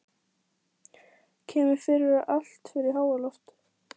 Kemur fyrir að allt fer í háaloft.